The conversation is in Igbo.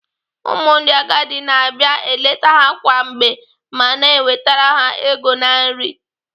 Ụmụ ndị agadi na-abia eleta ha kwa mgbe ma na-ewetara ha ego na nri.